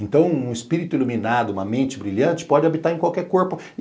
Então, um espírito iluminado, uma mente brilhante, pode habitar em qualquer corpo.